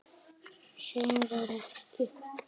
Sem var ekki.